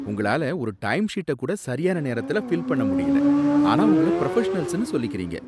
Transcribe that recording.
உங்களால ஒரு டைம்ஷீட்ட கூட சரியான நேரத்துல ஃபில் பண்ண முடியல, ஆனா உங்கள புரஃபஷனல்ஸ்னு சொல்லிக்கிறீங்க